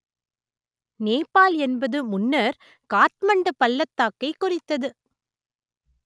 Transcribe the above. நேபாள் என்பது முன்னர் காத்மண்டு பள்ளத்தாக்கைக் குறித்தது